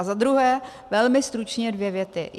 A za druhé velmi stručně dvě věty.